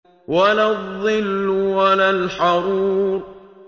وَلَا الظِّلُّ وَلَا الْحَرُورُ